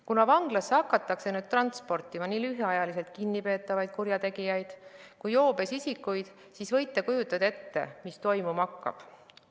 Kuna vanglasse hakatakse nüüd transportima nii lühiajaliselt kinnipeetavaid kurjategijaid kui ka joobes isikuid, siis võite ette kujutada, mis toimuma hakkab.